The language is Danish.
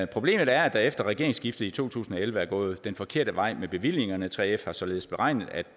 problemet er at det efter regeringsskiftet i to tusind og elleve er gået den forkerte vej med bevillingerne 3f har således beregnet at